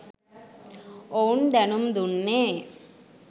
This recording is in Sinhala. ඔවුන් දැනුම්දුන්නේ